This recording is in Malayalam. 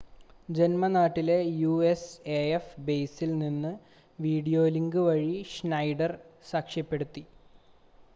ജന്മനാട്ടിലെ യുഎസ്എഎഫ് ബേസിൽ നിന്ന് വീഡിയോലിങ്ക് വഴി ഷ്നൈഡർ സാക്ഷ്യപ്പെടുത്തി